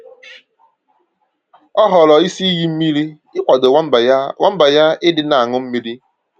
Ọ họọrọ isi iyi mmiri ịkwado nwamba ya nwamba ya ịdị na añụ mmírí